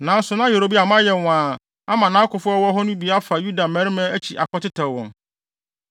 Nanso na Yeroboam ayɛ nwaa ama nʼakofo a wɔwɔ hɔ no bi afa Yuda mmarima akyi akɔtetɛw wɔn.